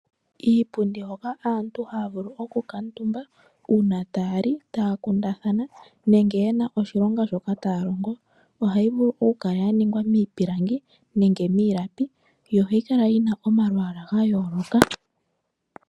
Iipundi hoka aantu ha ya vulu oku kuutumba uuna ta ya li, ta ya kundathana nenge ye na oshilonga shoka ta ya longo ohayi vulu oku kala ya ningwa miipilangi nenge miilapi. Ohayi kala yi na omalwaala ga yooloka.